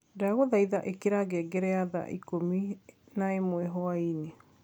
ndagũthaitha ĩkĩra ngengere ya thaa ĩkũmĩ naĩmwe hwaĩnĩ